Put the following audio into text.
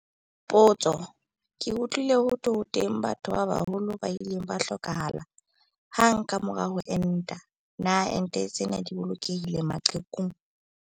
Potso- Ke utlwile ho thwe ho teng batho ba baholo ba ileng ba hlokahala hang ka mora ho enta. Na ente tsena di bolokehile maqhekung?